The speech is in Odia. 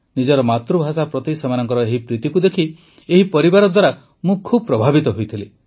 ନିଜର ମାତୃଭାଷା ପ୍ରତି ସେମାନଙ୍କର ଏହି ପ୍ରୀତିକୁ ଦେଖି ଏହି ପରିବାର ଦ୍ୱାରା ମୁଁ ବହୁ ପ୍ରଭାବିତ ହୋଇଥିଲି